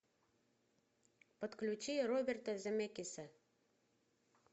подключи роберта земекиса